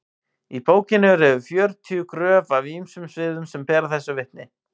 í bókinni eru yfir fjörutíu gröf af ýmsum sviðum sem bera þessu vitni